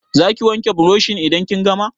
Za ki wanke burushin idan kin gama?